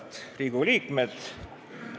Head Riigikogu liikmed!